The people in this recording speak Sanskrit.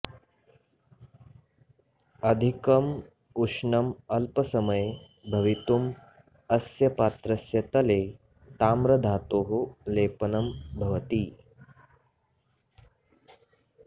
अधिकम् उष्णम् अल्पसमये भवितुं अस्य पात्रस्य तले ताम्रधातोः लेपनं भवति